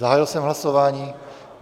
Zahájil jsem hlasování.